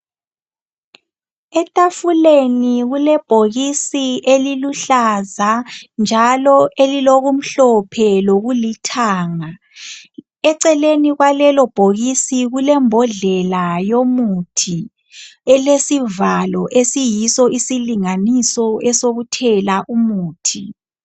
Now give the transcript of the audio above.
Etafuleni kulebhokisi eliluhlaza njalo eliloku mhlophe lokulithanga eceleni kwalelo bhokisi kule mbodlela yomuthi elesivalo esiyiso isilinganiso esokuthela umuthi .